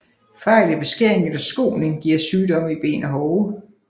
Fejl i beskæring eller skoning giver sygdomme i ben og hove